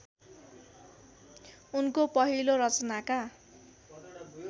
उनको पहिलो रचनाका